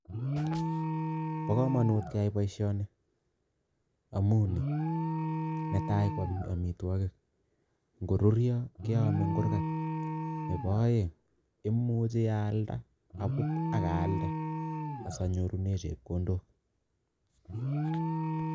Bo kamanut keyai boisioni amu ni, netai ko amitwogik, ngoruryo keame eng kurgat, nebo aeng imuchi aalda, abut ak aalde asanyorune chepkondok.